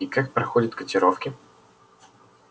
и как проходят котировки